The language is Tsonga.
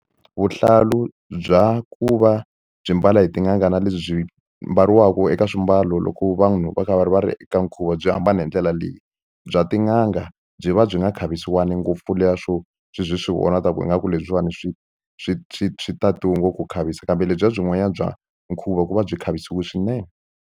Vuhlalu bya ku va byi mbala hi tin'anga na lebyi byi mbariwaka eka swimbalo loko vanhu va kha va ri va ri eka nkhuvo byi hambane hi ndlela leyi bya tin'anga a byi va byi nga khavisiwa ngopfu swo swi byi swi vonaka ku ingaku lebyiwani swi swi swi swi tatiwe ngopfu ku khavisa kambe lebyiya byin'wana bya nkhuvo ku va byi khavisiwe swinene.